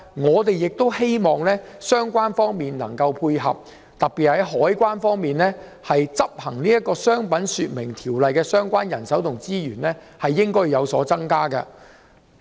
我們希望有關方面能作出配合，特別是海關在執行《商品說明條例》方面的人手及資源應予以增加。